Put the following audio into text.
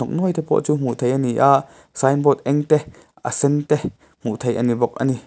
hnawk nuai te pawh chu hmuh thrih a ni a sign board eng te a sen te hmuh theih a ni bawk a ni.